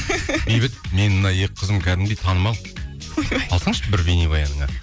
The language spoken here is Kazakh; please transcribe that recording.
бейбіт менің мына екі қызым кәдімгідей танымал алсаңшы бір бейнебаяныңа